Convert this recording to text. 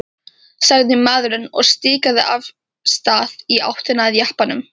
sagði maðurinn og stikaði af stað í áttina að jeppanum.